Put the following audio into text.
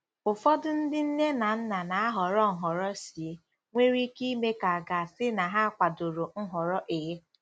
Ụfọdụ ndị nne na nna na-ahọrọ Nhọrọ C nwere ike ime ka a ga-asị na ha kwadoro Nhọrọ A.